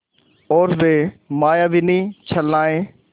और वे मायाविनी छलनाएँ